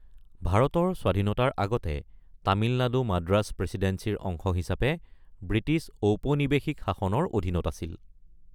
ভাৰতীয় স্বাধীনতাৰ আগতে, তামিলনাডু মাদ্ৰাজ প্ৰেচিডেন্সিৰ অংশ হিচাপে ব্ৰিটিছ ঔপনিৱেশিক শাসনৰ অধীনত আছিল।